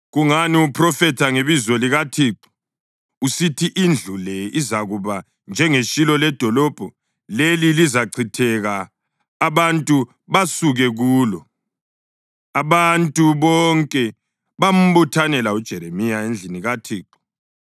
Kungani uphrofetha ngebizo likaThixo usithi indlu le izakuba njengeShilo ledolobho leli lizachitheka abantu basuke kulo?” Abantu bonke bambuthanela uJeremiya endlini kaThixo.